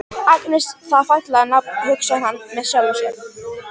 Agnes, það er fallegt nafn, hugsar hann með sjálfum sér.